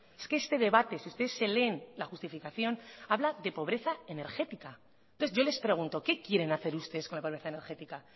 es que este debate si ustedes se leen la justificación habla de pobreza energética entonces yo les pregunto qué quieren hacer ustedes con la pobreza energética